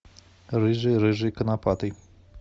рыжий рыжий конопатый